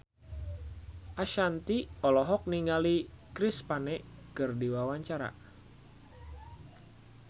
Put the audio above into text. Ashanti olohok ningali Chris Pane keur diwawancara